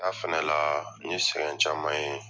Taa fana la nye sɛgɛn caman ye